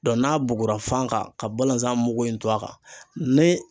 n'a bugura fan kan ka balanzan mugu in to a kan ni